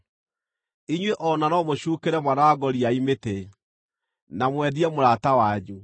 Inyuĩ o na no mũcuukĩre mwana wa ngoriai mĩtĩ, na mwendie mũrata wanyu.